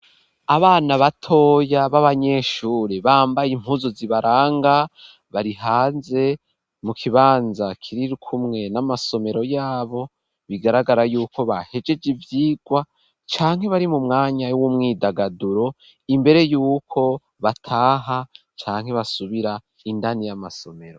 Abana batoya b'abanyeshure bambaye impuzu. zi baranga barihanze mu kibanza kirikumwe n'amasomero yabo bigaragara yuko bahejeje ivyigwa canke bari mu mwanya w'umwidagaduro imbere y'uko bataha canke basubira indani y'amasomero.